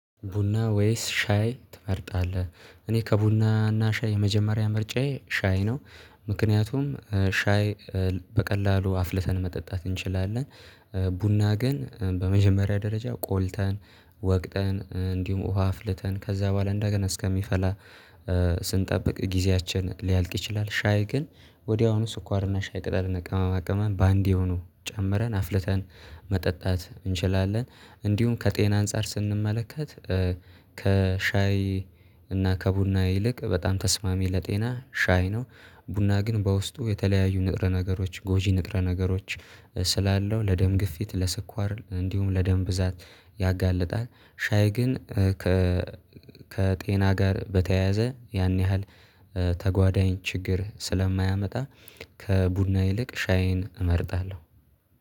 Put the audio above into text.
ቡና ወይስ ሻይ ትመርጣለህ? እኔ ከቡና እና ከሻይ የመጀመሪያ ምርጫዬ ሻይ ነው። ምክንያቱም ሻይ በቀላሉ አፍልተን መጠጣት እንችላለን። ቡና ግን በመጀመሪያ ደረጃ ቆልተን ወቅተን እንዲሁም ውሃ አፍልተን ከዛ በኋላ እንደገና እስከሚፈላ ስንጠብቅ ጊዜያችን ሊያልቅ ይችላል። ሻይ ግን ወዲያውኑ ስኳርና ሻይ ቅጠልና ቀመማ ቀማን በአንዴ ሆኖ ጨምረን አፍልተን መጠጣት እንችላለን። እንዲሁም ከጤና አንፃር ስንመለከት ከሻይ እና ከቡና ይልቅ በጣም ተስማሚ ለጤና ሻይ ነው። ቡና ግን በውስጡ የተለያዩ ንጥረ ነገሮች ጎጂ ንጥረ ነገሮች ስላለው ለደም ግፊት ለስኳር እንዲሁም ለደም ብዛት ያጋልጣል። ሻይ ግን ከጤና ጋር በተያያዘ ያን ያህል ተጓዳኝ ችግር ስለማያመጣ። ከቡና ይልቅ ሻይን እመርጣለሁ።